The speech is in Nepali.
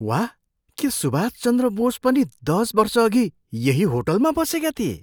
वाह! के सुभाष चन्द्र बोस पनि दस वर्षअघि यही होटलमा बसेका थिए?